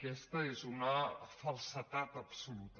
aquesta és una falsedat absoluta